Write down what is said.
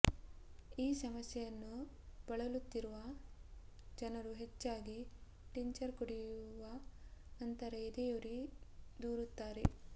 ಈ ಸಮಸ್ಯೆಯನ್ನು ಬಳಲುತ್ತಿರುವ ಜನರು ಹೆಚ್ಚಾಗಿ ಟಿಂಚರ್ ಕುಡಿಯುವ ನಂತರ ಎದೆಯುರಿ ದೂರುತ್ತಾರೆ